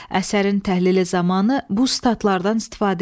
Əsərin təhlili zamanı bu sitatlardan istifadə eləyin.